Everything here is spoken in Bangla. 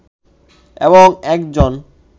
এবং একজন